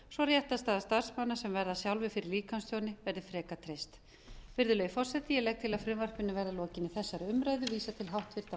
svo réttarstaða starfsmanna sem verða sjálfir fyrir líkamstjóni verði frekar treyst virðulegi forseti ég legg til að frumvarpinu verði að lokinni þessari umræðu vísað til háttvirtrar